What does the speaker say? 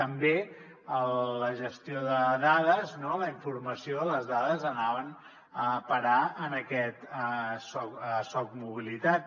també la gestió de dades no la informació de les dades anava a parar a aquest socmobilitat